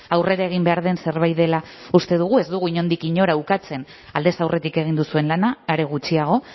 aurrera egin behar den zerbait dela uste dugu ez dugu inondik inora ukatzen aldez aurretik egin duzuen lana are gutxiago